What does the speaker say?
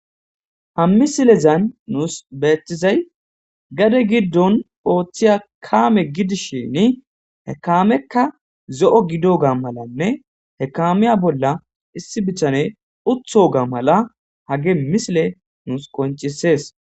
hammisilezan nuus beettizay gade giddon ooththiya kaame gidishini hekamekka zo7o gido ga malanne hekamiya bolla issi bitane utho ga mala hage misile nuus koncisees